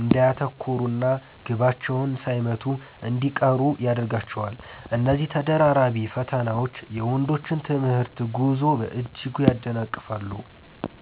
እንዳያተኩሩና ግባቸውን ሳይመቱ እንዲቀሩ ያደርጋቸዋል። እነዚህ ተደራራቢ ፈተናዎች የወንዶችን የትምህርት ጉዞ በእጅጉ ያደናቅፋሉ።